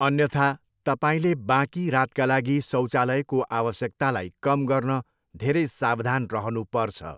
अन्यथा, तपाईले बाँकी रातका लागि शौचालयको आवश्यकतालाई कम गर्न धेरै सावधान रहनु पर्छ।